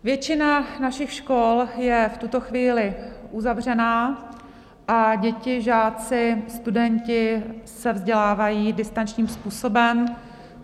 Většina našich škol je v tuto chvíli uzavřená a děti, žáci, studenti se vzdělávají distančním způsobem.